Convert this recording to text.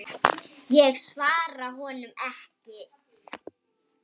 Ég svara honum ekki.